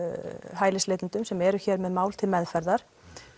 hælisleitendum sem eru hér með mál til meðferðar